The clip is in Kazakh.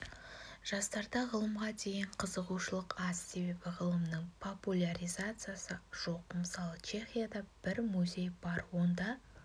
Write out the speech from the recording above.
жастарда ғылымға деген қызығушылық аз себебі ғылымның популяризациясы жоқ мысалы чехияда бір музей бар онда